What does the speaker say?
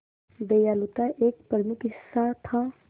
दयालुता एक प्रमुख हिस्सा था